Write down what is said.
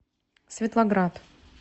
светлоград